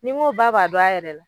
Ni n ko ba b'a dɔn a yɛrɛ la